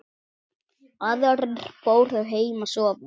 Aðrir fóru heim að sofa.